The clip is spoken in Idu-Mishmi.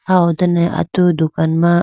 ah ho done atu dukan ma.